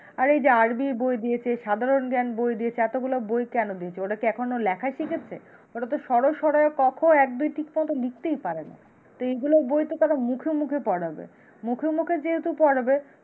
আর এই যে আর বি বই দিয়েছে সাধারণ জ্ঞান বই দিয়েছে এতগুলা বই কেন দিয়েছে? ওরা কি এখনো লেখাই শিখেছে? ওরা তো সর সরাও ক, খ, এক, দুই ঠিক মত লিখতেই পারে না। তো এইগুলো বই তো তারা মুখে মুখে পড়াবে তো মুখে মুখে যেহেতু পড়াবে